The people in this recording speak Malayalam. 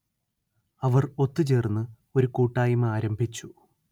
അവർ ഒത്തു ചേർന്ന് ഒരു കൂട്ടായ്മ ആരംഭിച്ചു